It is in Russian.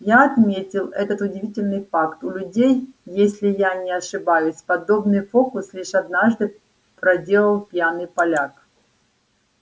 я отметил этот удивительный факт у людей если я не ошибаюсь подобный фокус лишь однажды проделал пьяный поляк